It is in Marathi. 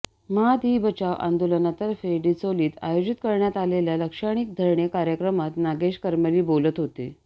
म्हाद ई बचाव आंदोलनातर्फे डिचोलीत आयोजित करण्यात आलेल्या लाक्षणिक धरणे कार्यक्रमात नागेश करमली बोलत होते